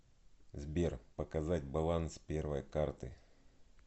сбер показать баланс первой карты